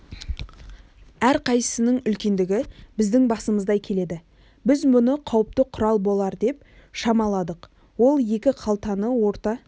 әрқайсысының үлкендігі біздің басымыздай келеді біз мұны қауіпті құрал болар деп шамаладық ол екі қалтаны орта